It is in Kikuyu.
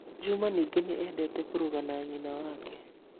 Juma ningĩ nĩ eendete kũruga na nyina wake.